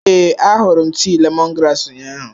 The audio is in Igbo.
Ee, ahụrụ m tii lemongrass ụnyahụ.